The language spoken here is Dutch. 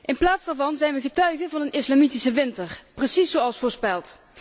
In plaats daarvan zijn we getuige van een islamitische winter, precies zoals voorspeld.